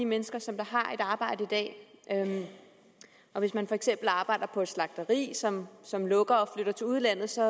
mennesker som har et arbejde i dag og hvis man for eksempel arbejder på et slagteri som som lukker og flytter til udlandet så